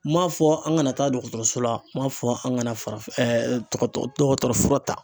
N m'a fɔ an kana taa dɔgɔtɔrɔso la, n m'a fɔ an kana farafin dɔgɔtɔ dɔgɔtɔrɔ fura ta